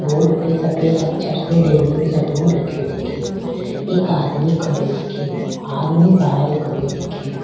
Board पे सफ़ेद अक्षर से डेनिम सेलून लिखीयो दिख रियो एक आदमी खडियो दिख रियो आदमी बहार खेडीयो दिख रियो।